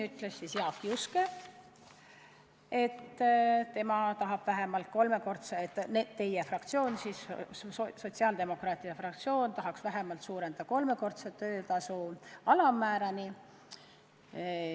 Jaak Juske ütles, et teie fraktsioon, sotsiaaldemokraatide fraktsioon tahaks seda suurendada vähemalt kolmekordse töötasu alammäärani.